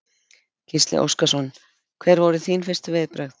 Gísli Óskarsson: Hver voru þín fyrstu viðbrögð?